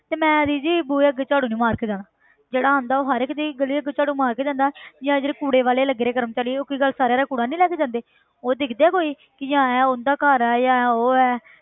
ਤੇ ਮੈਂ ਇਹਦੇ ਜੀ ਬੂਹੇ ਅੱਗੇ ਝਾੜੂ ਨੀ ਮਾਰਕੇ ਜਾਣਾ ਜਿਹੜਾ ਆਉਂਦਾ ਉਹ ਹਰ ਇੱਕ ਦੇ ਗਲੀ ਅੱਗੇ ਝਾੜੂ ਮਾਰਕੇ ਜਾਂਦਾ ਹੈ ਜਾਂ ਜਿਹੜੇ ਕੂੜੇ ਵਾਲੇ ਲੱਗੇ ਨੇ ਕਰਮਚਾਰੀ ਉਹ ਕੀ ਗੱਲ ਸਾਰਿਆਂ ਦਾ ਕੂੜਾ ਨੀ ਲੈ ਕੇ ਜਾਂਦੇ ਉਹ ਦੇਖਦੇ ਆ ਕੋਈ ਕਿ ਇਹ ਉਹਦਾ ਘਰ ਹੈ ਜਾਂ ਇਹ ਉਹ ਹੈ